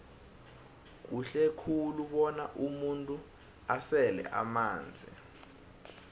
kuhle khulu bona umuntu asele amanzi